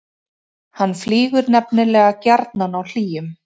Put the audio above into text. hann flýgur nefnilega gjarnan á hlýjum